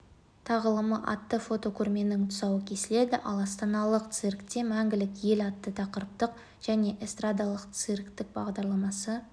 тағылымы атты фотокөрменің тұсауы кесіледі ал астаналық циркте мәңгілік ел атты тақырыптық және эстрадалық-цирктік бағдарламасы